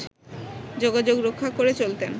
যোগাযোগ রক্ষা করে চলতেন